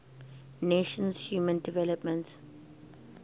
nations human development